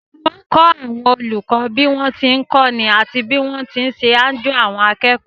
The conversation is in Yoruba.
Wọ́n kọ́ àwọn olùkọ́ bí wọ́n ti ń kọ́ni àti bí wọ́n ti ń ṣe àjo àwọn akẹ́kọ̀ọ́